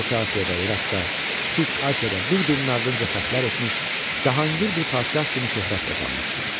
Orta Asiyada, İraqda, Kiçik Asiyada bir-birinin ardınca fətlər etmiş, Cahangir bir padşah kimi şöhrət qazanmışdı.